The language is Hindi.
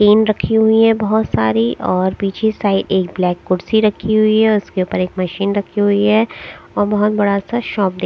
टीन रखी हुई हैं बहुत सारी और पीछे साइड एक ब्लैक कुर्सी रखी हुई है उसके ऊपर एक मशीन रखी हुई है और बहुत बड़ा सा शॉप दे --